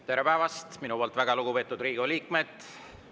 Tere päevast, minu poolt väga lugupeetud Riigikogu liikmed!